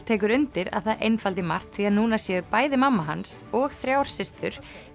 tekur undir að það einfaldi margt því að núna séu bæði mamma hans og þrjár systur